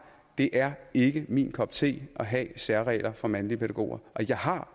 det er ikke min kop te at have særregler for mandlige pædagoger jeg har